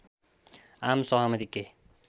आम सहमति के